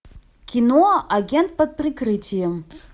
кино агент под прикрытием